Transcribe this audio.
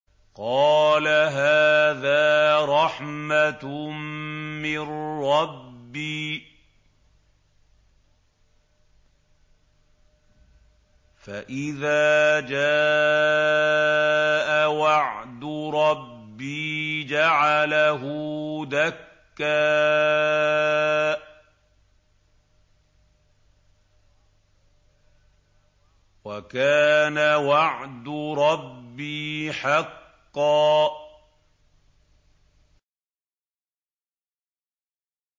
قَالَ هَٰذَا رَحْمَةٌ مِّن رَّبِّي ۖ فَإِذَا جَاءَ وَعْدُ رَبِّي جَعَلَهُ دَكَّاءَ ۖ وَكَانَ وَعْدُ رَبِّي حَقًّا